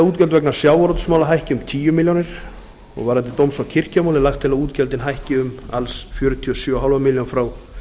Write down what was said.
útgjöld vegna sjávarútvegsmála hækki um tíu milljónir varðandi dóms og kirkjumál er lagt til að útgjöldin hækki um alls fjörutíu og sjö og hálfa milljón frá